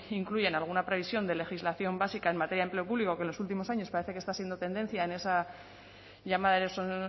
incluyen alguna previsión de legislación básica en materia de empleo público que en los últimos años parece que está siendo tendencia en esa llamada